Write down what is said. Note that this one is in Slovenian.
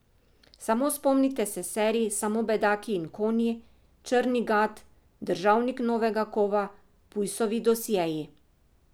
Samo spomnite se serij Samo bedaki in konji, Črni gad, Državnik novega kova, Pujsovi dosjeji...